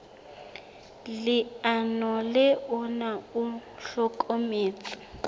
leano le ona o hlokometse